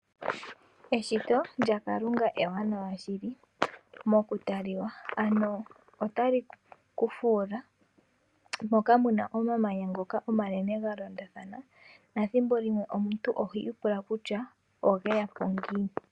Eshito lyaKalunga ewanawa shili mokutala, ano otali ku fuula. Opuna omamanya omanene ga londathana, nethimbo limwe omuntu oho ipula kutya oge ya po ngiini?